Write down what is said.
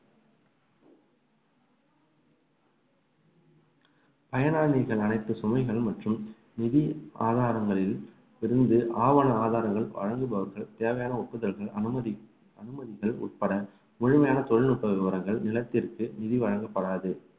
பயனாளிகள் அனைத்து சுமைகள் மற்றும் நிதி ஆதாரங்களில் இருந்து ஆவண ஆதாரங்கள் வழங்குபவர்கள் தேவையான ஒப்புதலுக்கு அனுமதி உட்பட முழுமையான தொழில்நுட்ப விவரங்கள் நிலத்திற்கு நிதி வழங்கப்படாது